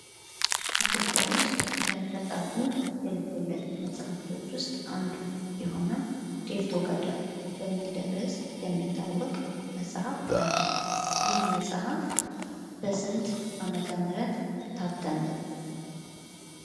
ኢትዮጵያ ውስጥ ከተፃፉ የልቦለድ መጽሐፍቶች ውስጥ አንዱ የሆነው ዴርቶጋዳ በሚል ርዕስ የሚታወቅ መጽሐፍ አለ። ይህ መጽሀፍ በስንት ዓመተ ምህረት ታተመ?